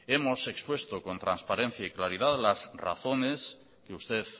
hemos expuesto con transparencia y claridad las razones que usted